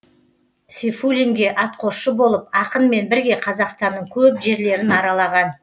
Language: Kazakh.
сейфуллинге атқосшы болып ақынмен бірге қазақстанның көп жерлерін аралаған